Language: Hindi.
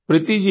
प्रीति जी